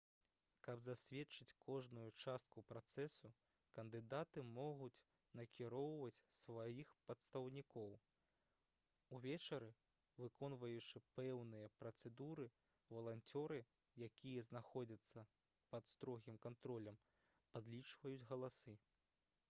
каб засведчыць кожную частку працэсу кандыдаты могуць накіроўваць сваіх прадстаўнікоў увечары выконваючы пэўныя працэдуры валанцёры якія знаходзяцца пад строгім кантролем падлічваюць галасы